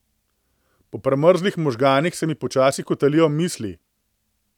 Po premrzlih možganih se mi počasi kotalijo misli.